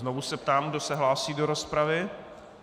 Znovu se ptám, kdo se hlásí do rozpravy.